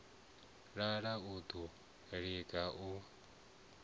lala u ḓo liga u